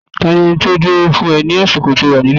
Ta ni ẹni tí ó dúró fún ẹ ní àsìkò tí o wà ní líìfù.